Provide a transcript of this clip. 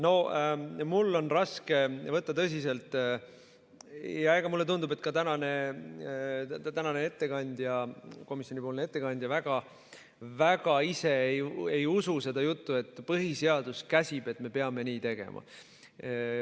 No mul on raske võtta tõsiselt seda ja mulle tundub, et ka tänane komisjoni ettekandja väga ise ju ei usu seda juttu, et põhiseadus käsib, et me peame nii tegema.